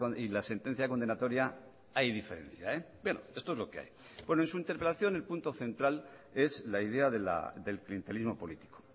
y la sentencia condenatoria hay diferencia esto es lo que hay en su interpelación el punto central es la idea del clientelismo político